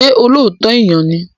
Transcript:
Ṣé olóòótọ́ èèyàn ni?